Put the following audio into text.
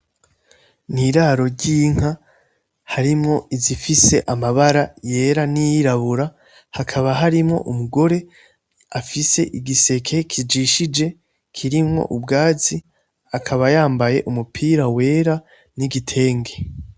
N'iraro ryinka harimwo izifise amabara yera niyirabura , hakaba harimwo umugore afise igiseke kijishije kirimwo ubwatsi , akaba yambaye umupira wera n'igitenge .